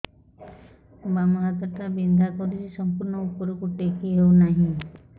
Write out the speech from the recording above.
ବାମ ହାତ ଟା ବିନ୍ଧା କରୁଛି ସମ୍ପୂର୍ଣ ଉପରକୁ ଟେକି ହୋଉନାହିଁ